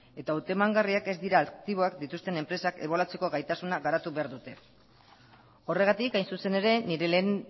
eta hautemangarriak ez dira aktiboak dituzten enpresak ebaluatzeko gaitasuna garatu behar dute horregatik hain zuzen ere nire lehen